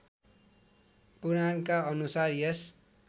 पुराणका अनुसार यस